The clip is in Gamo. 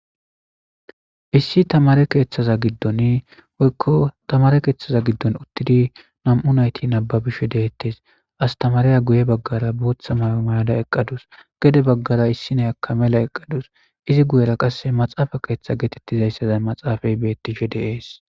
Issi tamaare keeththaza giddon woykko tamaare keeththaza giddon uuttidii nam'u naytti nababbishe de'eetes astamariya guye baggara booththa may'o mayada eqqadus gedde baggara issi nayakka mela eqqadus izi guyera qasekka maxafe keththa gettetiza maxafey de'es